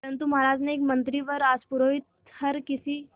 परंतु महाराज के एक मंत्री व राजपुरोहित हर किसी